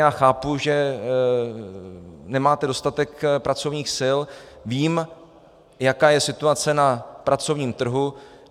Já chápu, že nemáte dostatek pracovních sil, vím, jaká je situace na pracovním trhu.